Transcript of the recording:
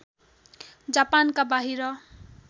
जापानका बाहिर